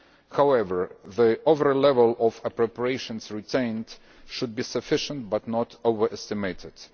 However, the overall level of appropriations retained should be sufficient but not overestimated.